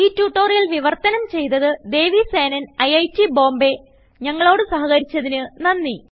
ഈ ട്യൂട്ടോറിയൽ വിവർത്തനം ചെയ്തത് ദേവി സേനൻ ഐറ്റ് Bombayഞങ്ങളോട് സഹകരിച്ചതിന് നന്ദി